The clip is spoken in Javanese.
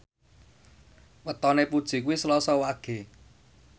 wetone Puji kuwi Selasa Wage